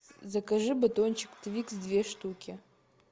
закажи батончик твикс две штуки